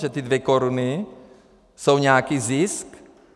Že ty dvě koruny jsou nějaký zisk?